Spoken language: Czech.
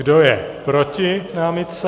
Kdo je proti námitce?